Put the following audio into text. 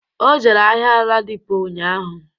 O jere ahịa Ladipo ụnyaahụ